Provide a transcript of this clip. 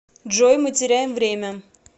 джой мы теряем время